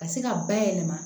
Ka se ka bayɛlɛma